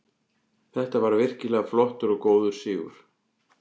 Þetta var virkilega flottur og góður sigur.